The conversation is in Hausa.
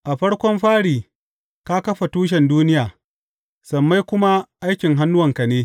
A farkon fari ka kafa tushen duniya, sammai kuma aikin hannuwanka ne.